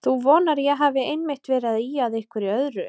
Þú vonar að ég hafi einmitt verið að ýja að einhverju öðru.